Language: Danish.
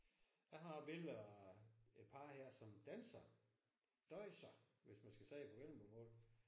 Har har et billede af et par her som danser. Dåjser hvis man skal sige det på vendelbomål